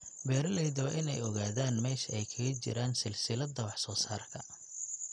Beeralayda waa in ay ogaadaan meesha ay kaga jiraan silsiladda wax soo saarka.